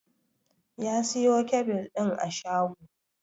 Ya siyo kyabil ɗin a shago